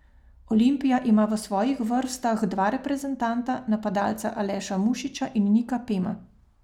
Olimpija ima v svojih vrstah dva reprezentanta, napadalca Aleša Mušiča in Nika Pema.